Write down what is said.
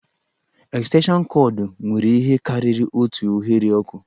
Estenshịọnụ kọọdụ nwere ihe karịrị otu oghere ọkụ